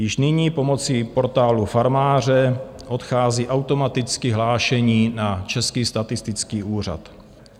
Již nyní pomocí Portálu farmáře odchází automaticky hlášení na Český statistický úřad.